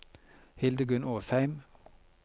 Hildegunn Åsheim